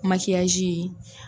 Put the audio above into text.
Makiyaji